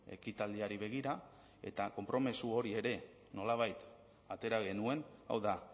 ekitaldiari begira eta konpromiso hori ere nolabait atera genuen hau da